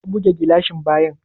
Ya buge gilashin bayan?